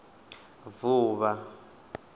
vuvha